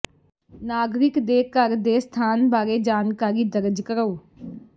ਨਾਗਰਿਕ ਦੇ ਘਰ ਦੇ ਸਥਾਨ ਬਾਰੇ ਜਾਣਕਾਰੀ ਦਰਜ ਕਰੋ